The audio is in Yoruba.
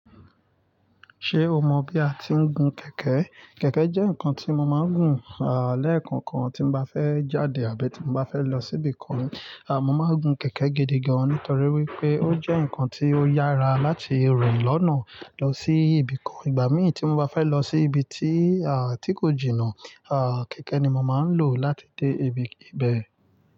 Ṣé o mọ bí a ti ń gun kẹ̀kẹ́? Kẹ̀kẹ́ jẹ́ nǹkan tí mo máa ń gùn, à, lẹ́ẹ̀kan kan tí mo bá fẹ́ jáde àbí tí mo bá fẹ́ lọ síbì kan. À, mo máa ń gun kẹ̀kẹ́ gidi gan-an nítorí wípé ó jẹ́ nǹkan tí ó yára láti rìn lọ́nà lọ sí ibì kan. Ìgbà mí ì tí mo bá fẹ́ lọ sí ibi tí, à, tí kò jìnnà, à, kẹ̀kẹ́ ni mo máa ń lò láti dé ib-ibẹ̀.